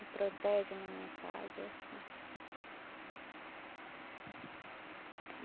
Me protege na minha casa, é assim.